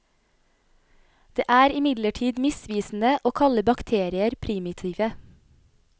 Det er imidlertid misvisende å kalle bakterier primitive.